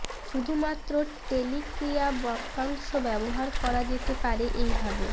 শুধুমাত্র টেলিক ক্রিয়া বাক্যাংশ ব্যবহার করা যেতে পারে এইভাবে